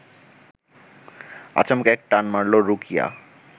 আচমকা এক টান মারল রুকিয়া